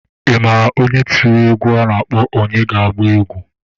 Ị maara onye tiri egwu a na-akpọ :"Onye ga-agba egwu"?